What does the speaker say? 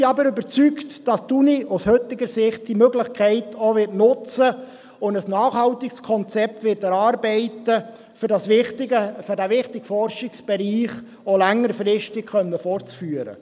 Wir sind aber überzeugt, dass die Universität diese Möglichkeit aus heutiger Sicht auch nutzen und ein nachhaltiges Konzept erarbeiten wird, um diesen wichtigen Forschungsbereich auch längerfristig fortführen zu können.